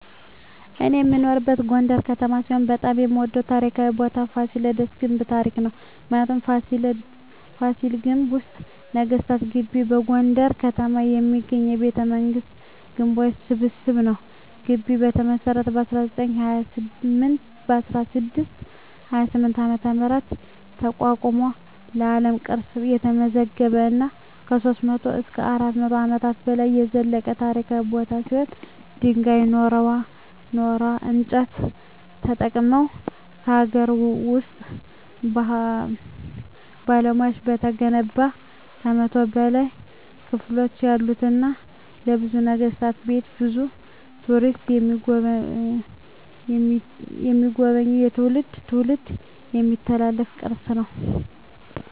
እኔ የምኖርበት ጎንደር ከተማ ሲሆን በጣም የምወደው ታሪካዊ ቦታ የፋሲለደስ ግንብ ታሪክ ነው። ምክንያቱ : ፋሲል ግንብ ወይም ነገስታት ግቢ በጎንደር ከተማ የሚገኝ የቤተመንግስታት ግንቦች ስብስብ ነው። ግቢው የተመሰረተው በ1628 ዓ.ም አቋቋመ በአለም ቅርስነት የተመዘገበ እና ከ300-400 አመታት በላይ የዘለቀ ታሪካዊ ቦታ ሲሆን ድንጋይ ,ኖራና እንጨት ተጠቅመው በሀገር ውስጥ ባለሙያዎች የተገነባ ከ100 በላይ ክፍሎች ያሉትና የብዙ ነገስታት ቤት ብዙ ቱሪስቶች የሚጎበኙት ከትውልድ ትውልድ የሚተላለፍ ቅርስ ነው።